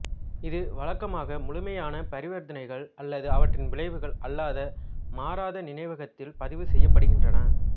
இது வழக்கமாக முழுமையான பரிவர்த்தனைகள் அல்லது அவற்றின் விளைவுகள் அல்லாத மாறாத நினைவகத்தில் பதிவு செய்யப்படுகின்றன